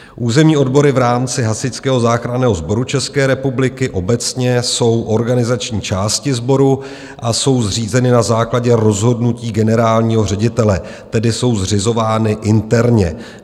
Územní odbory v rámci Hasičského záchranného sboru České republiky obecně jsou organizační části sboru a jsou zřízeny na základě rozhodnutí generálního ředitele, tedy jsou zřizovány interně.